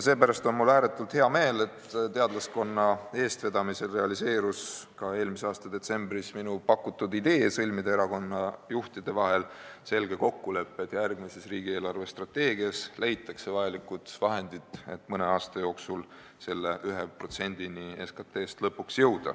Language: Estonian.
Sellepärast on mul ääretult hea meel, et teadlaskonna eestvedamisel realiseerus eelmise aasta detsembris minu pakutud idee sõlmida erakonnajuhtide vahel selge kokkulepe, et järgmises riigi eelarvestrateegias leitaks vajalikud vahendid, selleks et mõne aasta jooksul lõpuks jõuda 1%-ni SKT-st.